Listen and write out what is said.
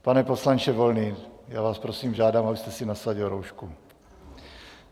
Pane poslanče Volný, já vás prosím, žádám, abyste si nasadil roušku.